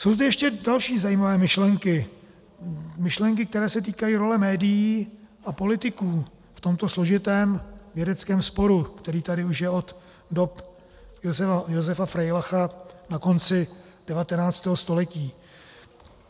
Jsou zde ještě další zajímavé myšlenky - myšlenky, které se týkají role médií a politiků v tomto složitém vědeckém sporu, který tady už je od dob Josefa Frejlacha na konci 19. století.